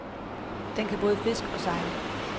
Den kan både fiske og sejle.